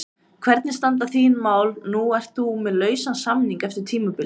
Hvernig standa þín mál, nú ert þú með lausan samning eftir tímabilið?